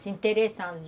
Se interessando.